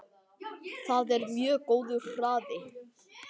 Það er mjög góður hraði.